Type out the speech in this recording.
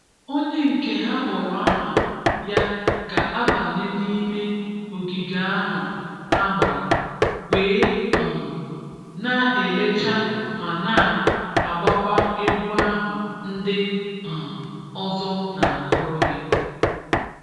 Ònyè nkè hà kpọ̀rọ̀ àhà yà ga-abànyè n’imè ogìgè ahụ̀ hà gbàrà, wèè um nà-elèchà mà nà-agbàkwà ègwù ahụ̀ ndị̀ um ọzọ̀ nà-agụ̀rụ yà